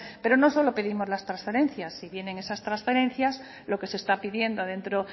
pero no solo pedimos las transferencias si bien en esas transferencias lo que se está pidiendo dentro